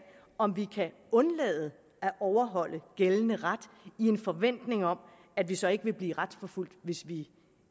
om vi kan undlade at overholde gældende ret i en forventning om at vi så ikke vil blive retsforfulgt hvis vi